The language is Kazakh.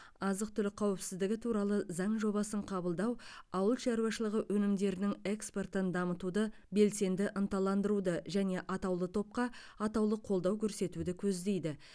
азық түлік қауіпсіздігі туралы заң жобасын қабылдау ауыл шаруашылығы өнімдерінің экспортын дамытуды белсенді ынталандыруды және атаулы топқа атаулы қолдау көрсетуді көздейді